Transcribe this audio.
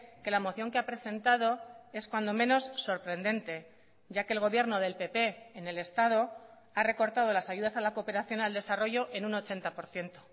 que la moción que ha presentado es cuando menos sorprendente ya que el gobierno del pp en el estado ha recortado las ayudas a la cooperación al desarrollo en un ochenta por ciento